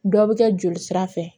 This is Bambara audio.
Dɔ bɛ kɛ joli sira fɛ